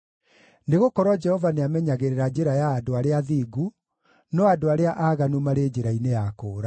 Nĩgũkorwo Jehova nĩamenyagĩrĩra njĩra ya andũ arĩa athingu, no andũ arĩa aaganu marĩ njĩra-inĩ ya kũũra.